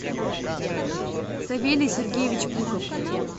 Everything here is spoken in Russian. савелий сергеевич пухов